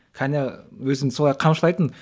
кәне өзімді солай қамшылайтынмын